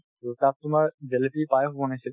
to তাত তোমাৰ জেলেপী, পায়স বনাইছিল